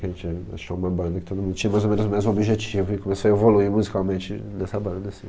Que a gente achou uma banda que todo mundo tinha mais ou menos o mesmo objetivo e começou a evoluir musicalmente nessa banda, assim.